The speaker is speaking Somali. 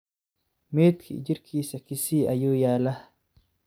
Meedki jirkisa Kisii ayuyalah.